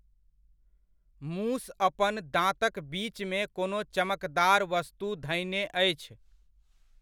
मूस अपन दाँतक बीचमे कोनो चमकदार वस्तु धयने अछि।